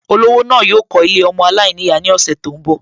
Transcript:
Olówó náà yóò kọ́ Ilé ọmọ aláìníyàá ní ọ̀sẹ̀ tó ń bọ̀